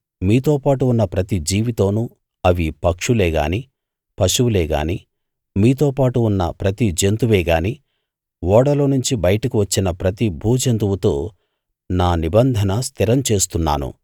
మీతో పాటు ఉన్న ప్రతి జీవితోను అవి పక్షులే గాని పశువులే గాని మీతోపాటు ఉన్న ప్రతి జంతువే గాని ఓడలోనుంచి బయటకు వచ్చిన ప్రతి భూజంతువుతో నా నిబంధన స్థిరం చేస్తున్నాను